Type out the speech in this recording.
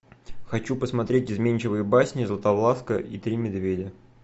хочу посмотреть изменчивые басни златовласка и три медведя